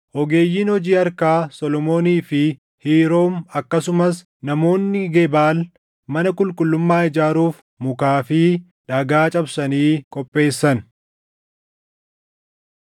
Ogeeyyiin hojii harkaa Solomoonii fi Hiiroom akkasumas namoonni Gebaal mana qulqullummaa ijaaruuf mukaa fi dhagaa cabsanii qopheessan.